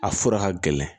A fura ka gɛlɛn